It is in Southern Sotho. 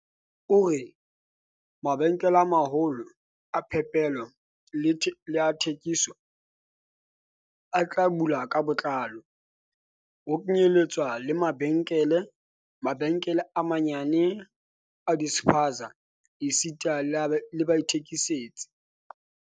O re, "Mabenkele a ma-holo a phepelo le a thekiso a tla bulwa ka botlalo, ho kenyeletswa le mabenkele, mabenkele a manyenyane a di-spaza esita le baithekisetsi."